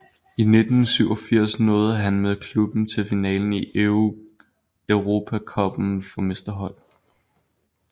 I 1987 nåede han med klubben til finalen i Europacuppen for mesterhold